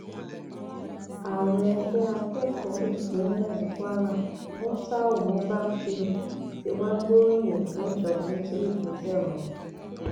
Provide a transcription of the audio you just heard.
ààrẹ ẹgbẹ akẹkọọ ìpínlẹ ìpínlẹ kwara muftau mubak shitun tí wàá gbóríyìn fún ìjọba nítorí ìgbésẹ ọhún